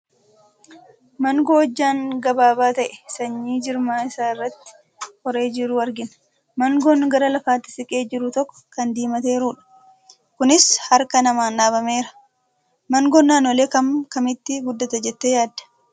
Maangoo hojjaan gabaabaa ta'ee, sanyii jirma isaa irratti horee jiru argina. Maangoon gara lafaatti siqee jiru tokko kan diimateerudha. Kunis harka namaan dhaabameera. Maangoon naannolee akkam akkamiitti guddata jettee yaadda?